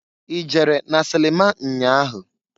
I jere na silima nnya ahụ?